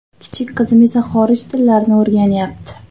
Kichik qizim esa xorij tillarini o‘rganayapti.